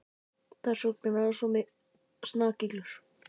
Þess vegna er hann svona snakillur.